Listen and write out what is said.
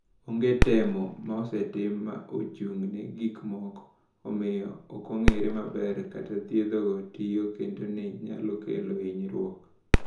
"Onge temo ma osetim ma ochung’ne gik moko, omiyo ok ong’ere maber kaka thiethgo tiyo kendo ni nyalo kelo hinyruok."